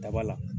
Daba la